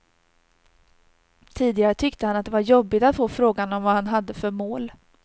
Tidigare tyckte han att det var jobbigt att få frågan om vad han hade för mål.